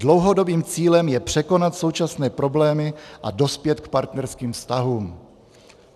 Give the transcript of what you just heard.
Dlouhodobým cílem je překonat současné problémy a dospět k partnerským vztahům."